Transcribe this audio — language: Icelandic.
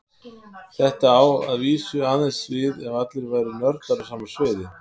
Þetta á að vísu aðeins við ef allir væru nördar á sama sviði.